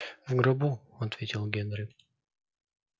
в гробу ответил генри